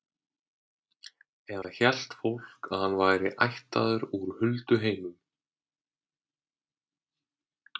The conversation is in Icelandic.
Eða hélt fólk að hann væri ættaður úr hulduheimum?